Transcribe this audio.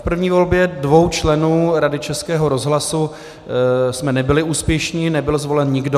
V první volbě dvou členů Rady Českého rozhlasu jsme nebyli úspěšní, nebyl zvolen nikdo.